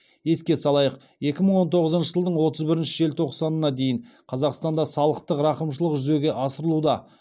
еске салайық екі мың он тоғызыншы жылдың отыз бірінші желтоқсанына дейін қазақстанда салықтық рақымшылық жүзеге асырылуда